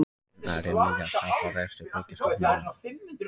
Nærri milljarðs tap á rekstri Byggðastofnunar